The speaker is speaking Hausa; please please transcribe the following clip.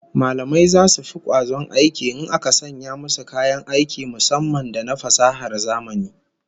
Mallamai zasu fi kwazon aiki in aka sanya musu kayan aiki musamman da na fasahar zamani